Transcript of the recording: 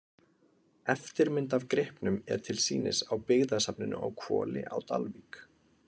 Eftirmynd af gripnum er til sýnis á byggðasafninu á Hvoli á Dalvík.